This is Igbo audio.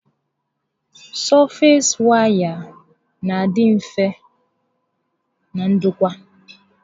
Sọfees waya n'adị mfe na ndokwa